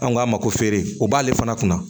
An ko a ma ko feere o b'ale fana kunna